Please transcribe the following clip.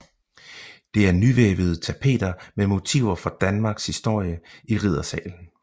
Det er nyvævede tapeter med motiver fra Danmarks historie i riddersalen